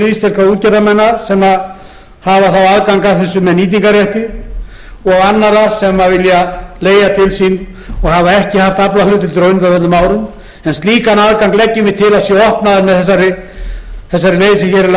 íslenskra útgerðarmanna sem hafa þá aðgang að þessu með nýtingarrétti og annarra sem vilja leigja til sín og hafa ekki haft aflahlutdeildir á undanförnum árum en slíkan aðgang leggjum við til að sé opnaður með þessari leið sem hér er lögð til þá teljum